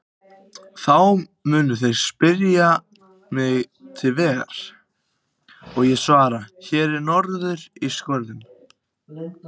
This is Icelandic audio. Þá munu þeir spyrja mig til vegar og ég svara: Hér norður úr skörðunum.